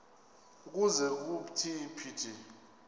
ukuze kuthi phithi